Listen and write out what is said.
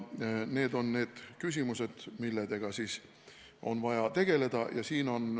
Need on need küsimused, millega on vaja tegeleda.